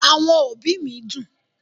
Àwọn òbí mi dùn